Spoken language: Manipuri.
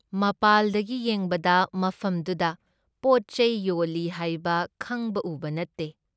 ꯃꯄꯥꯥꯜꯗꯒꯤ ꯌꯦꯡꯕꯗ ꯃꯐꯝꯗꯨꯗ ꯄꯣꯠꯆꯩ ꯌꯣꯜꯂꯤ ꯍꯥꯏꯕ ꯈꯪꯕ ꯎꯕ ꯅꯠꯇꯦ ꯫